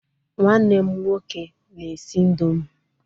Nwanne m nwoke na-esi indọmii.